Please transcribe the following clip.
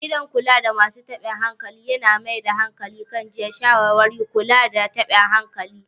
Gidan kulada masu taɓin hankali yana mai da hankali kan jiyya, shawarwari, da kula da taɓin hankali.